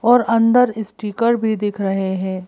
और अंदर स्टीकर भी दिख रहे हैं।